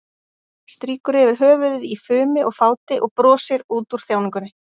Strýkur yfir höfuðið í fumi og fáti og brosir út úr þjáningunni.